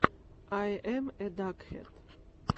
ай эм э дакхэд